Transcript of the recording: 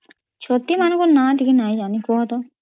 ଛତି ମାନଂକ ନା ଟିକେ ନାଇ ଜାନୀ କହ ତ